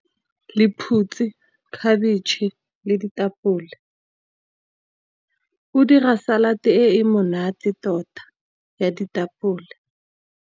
Lephutsi, khabetšhe le ditapole, o dira salad e e monate tota ya ditapole.